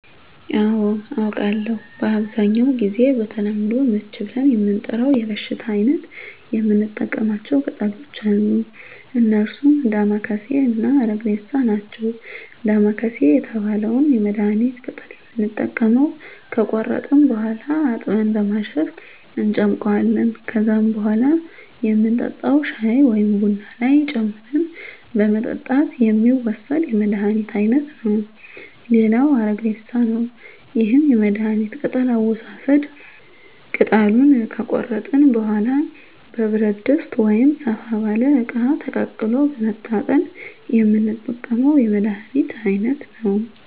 አዎ አውቃለሁ በአብዛኛው ጊዜ በተለምዶ ምች ብለን ለምንጠራው የበሽታ አይነት የምንጠቀማቸው ቅጠሎች አሉ እነርሱም ዳማከሴ እና አረግሬሳ ናቸው ዳማከሴ የተባለውን የመድሀኒት ቅጠል የምንጠቀመው ከቆረጥን በኋላ አጥበን በማሸት እንጨምቀዋለን ከዛም በኋላ የምንጠጣው ሻይ ወይም ቡና ላይ ጨምረን በመጠጣት የሚወሰድ የመድሀኒት አይነት ነው ሌላው አረግሬሳ ነው ይህም የመድሀኒት ቅጠል አወሳሰድ ቅጠሉን ከቆረጥን በኋላ በብረት ድስት ወይም ሰፋ ባለ እቃ ተቀቅሎ በመታጠን የምንጠቀመው የመድሀኒት አይነት ነው